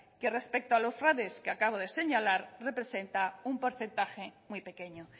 que respecto a los fraudes que acabo de señalar representa un porcentaje muy pequeño